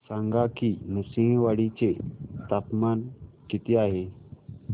सांगा की नृसिंहवाडी चे तापमान किती आहे